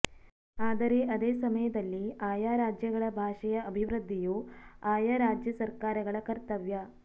ಆದರೆ ಅದೇ ಸಮಯದಲ್ಲಿ ಆಯಾ ರಾಜ್ಯಗಳ ಭಾಷೆಯ ಅಭಿವೃದ್ಧಿಯೂ ಆಯಾ ರಾಜ್ಯಸರ್ಕಾರಗಳ ಕರ್ತವ್ಯ